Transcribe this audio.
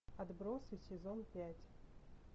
отбросы сезон пять